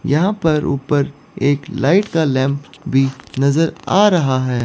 यहां पर ऊपर एक लाइट का लैंप भी नजर आ रहा है।